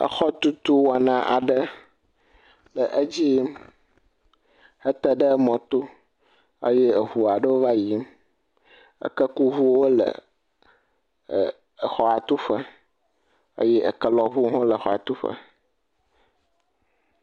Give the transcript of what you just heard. Exɔtutu wɔna aɖe le edzi yim hete ɖe mɔto. Eye eŋu aɖewo va yiyim. Ekekuŋuwo le ɛɛ exɔa tuƒe eye ekelɔŋuwo ha wole exɔa tuƒe.